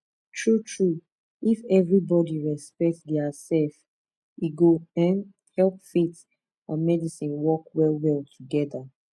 true true if everybody respect their self e go um help faith and medicine work well well together